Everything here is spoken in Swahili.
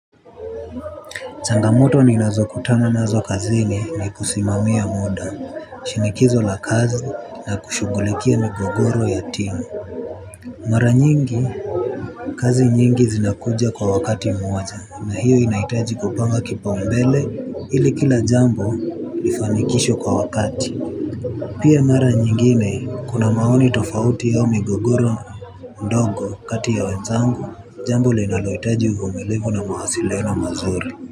Changamoto ninazokutana nazo kazini ni kusimamia muda, shinikizo la kazi na kushughulikia migogoro ya timu mara nyingi kazi nyingi zinakuja kwa wakati mmoja na hiyo inahitaji kupanga kipaumbele ili kila jambo lifanikishwe kwa wakati pia mara nyingine kuna maoni tofauti au migogoro ndogo kati ya wenzangu jambo linaloitaji uvumiivu na mawasiliano mazuri.